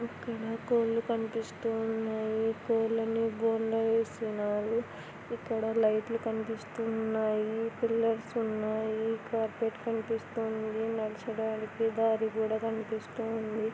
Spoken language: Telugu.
కోళ్లు కనిపిస్తున్నాయి కోళ్లన్నీ బోన్లో వేస్తున్నారు ఇక్కడ లైట్లు కనిపిస్తూ ఉన్నాయి పిల్లర్స్ ఉన్నాయి కార్పెట్ కనిపిస్తుంది నడిచడానికి దారి కూడా కనిపిస్తుంది.